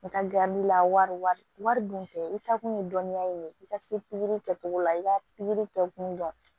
N ka la wari dun tɛ i ta kun ye dɔnniya ye i ka se pikiri kɛcogo la i ka pikiri kɛ kun dɔn